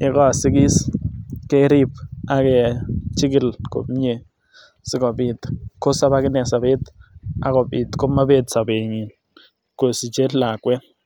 yekosiikis kerib ak kechikil komie sikobit kosob akinee sobet akobit komobet sobenyin kosiche lakwet.